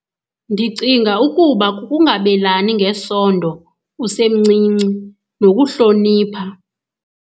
Ndicinga ukuba kukungabelani ngesondo usemncinci nokuhlonipha.